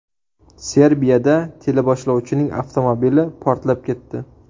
Serbiyada teleboshlovchining avtomobili portlab ketdi.